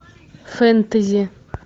фэнтези